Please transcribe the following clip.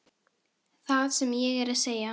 Það sem ég er að segja.